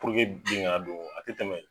Puruke bin kana don a te tɛmɛ